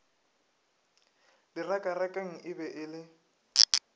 direkarekane e be e le